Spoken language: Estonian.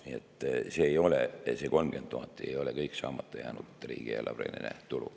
Nii et see 30 000 ei ole kõik saamata jäänud riigieelarveline tulu.